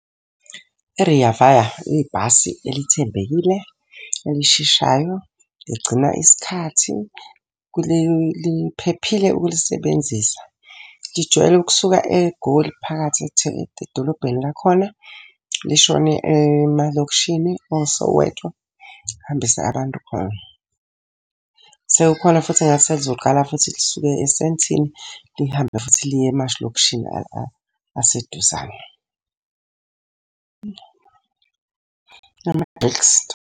I-Rea Vaya ibhasi elithembekile, elisheshayo, ligcina isikhathi, liphephile ukulisebenzisa. Lijwayele ukusuka eGoli phakathi edolobheni lakhona, lishone emalokishini oSoweto lihambise abantu khona. Sekukhona futhi engathi selizoqalu futhi lisuke eSandton, lihambe futhi liye amalokishini aseduzane. .